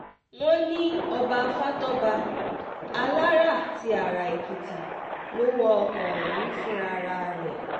wọ́n ní ọba fatọ́ba alára ti ara èkìtì ló wa ọkọ̀ ọ̀hún fúnra rẹ̀